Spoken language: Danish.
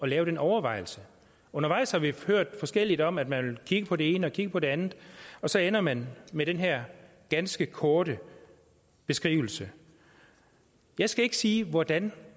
lave den overvejelse undervejs har vi hørt forskelligt om at man kigge på det ene og kigge på det andet og så ender man med den her ganske korte beskrivelse jeg skal ikke sige hvordan